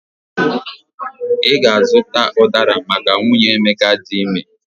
I ga-azuta ụdara maka nwunye Emeka di ime